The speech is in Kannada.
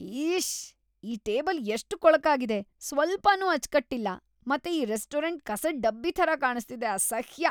ಇಶ್ಶ್! ಈ ಟೇಬಲ್ ‌ಎಷ್ಟ್ ಕೊಳಕಾಗಿದೆ, ಸ್ವಲ್ಪನೂ ಅಚ್ಚ್‌ಕಟ್ಟಿಲ್ಲ ಮತ್ತೆ ಈ ರೆಸ್ಟೋರೆಂಟ್ ಕಸದ್ ಡಬ್ಬಿ ಥರ ಕಾಣಿಸ್ತಿದೆ, ಅಸಹ್ಯ!!